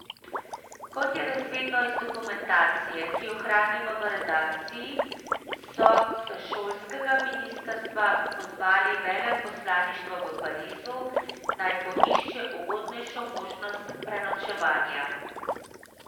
Kot je razvidno iz dokumentacije, ki jo hranimo v redakciji, so s šolskega ministrstva pozvali veleposlaništvo v Parizu, naj poišče ugodnejšo možnost prenočevanja.